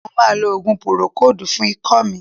Mo ma lo òògùn púrókòòdù fún ikọ́ mi.